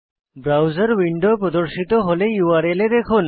browser window প্রর্দশিত হলে URL এ দেখুন